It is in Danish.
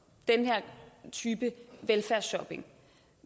den her type velfærdsshopping